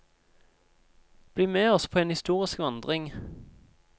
Bli med oss på en historisk vandring.